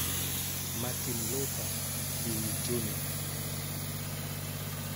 Martin Luther King, Jr.